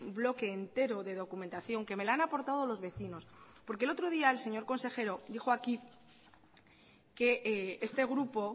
bloque entero de documentación que me la han aportado los vecinos porque el otro día el señor consejero dijo aquí que este grupo